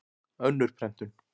Önnur prentun.